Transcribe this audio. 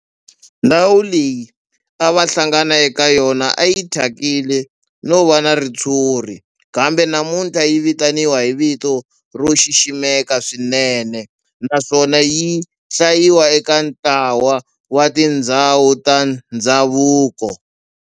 Ndhawu leyi a va hlangana ka yona a yi thyakile no va na ritshuri kambe namuntlha yi vitaniwa hi vito ro xiximeka swinene naswona yi hlayiwa eka ntlawa wa tindhawu ta ndhavuko.